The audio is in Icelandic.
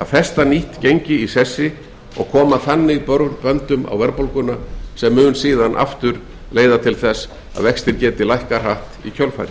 að festa nýtt gengi í sessi og koma þannig böndum á verðbólguna gripið hefur verið til tímabundinnar takmörkunar á fjármagnsviðskiptum og verður þeim viðhaldið eftir þörfum vissulega hafa slíkar takmarkanir